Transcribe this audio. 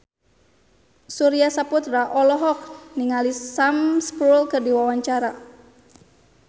Surya Saputra olohok ningali Sam Spruell keur diwawancara